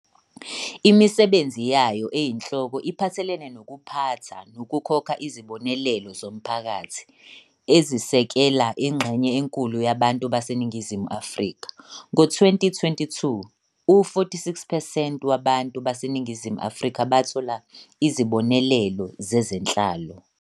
Imisebenzi yayo eyinhloko iphathelene nokuphatha nokukhokha izibonelelo zomphakathi, ezisekela ingxenye enkulu yabantu baseNingizimu Afrika, ngo-2022, u-46 percent wabantu baseNingizimu Afrika bathola izibonelelo zezenhlalo.